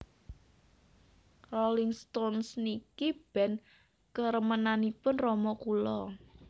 Rolling Stones niki band keremenanipun rama kula